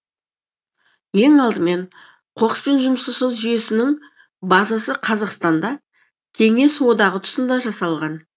ең алдымен қоқыспен жұмыс жасау жүйесінің базасы қазақстанда кеңес одағы тұсында жасалған